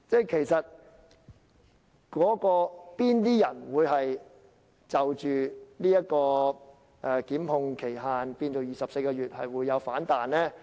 其實哪些人會反對將檢控的法定時效限制延長至24個月呢？